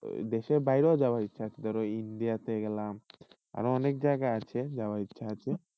দেশের বাইরে হওয়া যাওয়ার ইচ্ছা আছে ধরো এই India গেলাম, আরো অনেক জায়গা আছে যাওয়ার ইচ্ছা আছে।